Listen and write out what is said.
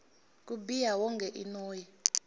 ku biha wonge i noyi